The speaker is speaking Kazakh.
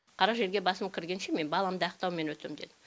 қара жерге басым кіргенше мен баламды ақтаумен өтемін дедім